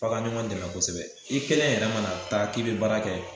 F'a ka ɲɔɔgɔn dɛmɛ kosɛbɛ i kelen yɛrɛ ma taa k'i be baara kɛ